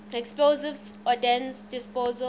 explosive ordnance disposal